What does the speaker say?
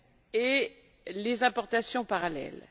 et les importations parallèles.